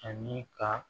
Ani ka